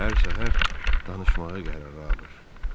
Hər səhər danışmağa qərara alır.